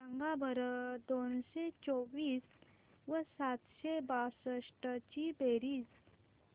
सांगा बरं दोनशे चोवीस व सातशे बासष्ट ची बेरीज